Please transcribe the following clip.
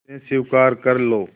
उसे स्वीकार कर लो